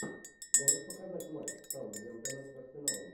можешь показать матч саутгемптона с арсеналом